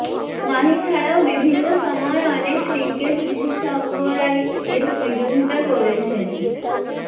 মাহি ছাড়াও বিভিন্ন সময় অনেক ক্রিকেট বিশেষজ্ঞরাই এর বিরোধিতা করেছেন